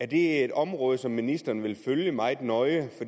det er et område som ministeren vil følge meget nøje